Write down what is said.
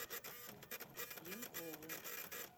пьянкову